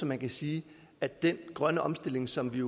man kan sige at den grønne omstilling som vi